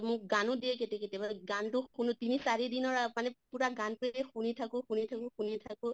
মোক গানো দিয়ে কেতিয়া কেতিয়াবা, গানটো শুনো তিনি চাৰি দিনৰ আ মানে পুৰা গানটোই শুনি থাকো শুনি থাকো শুনি থাকো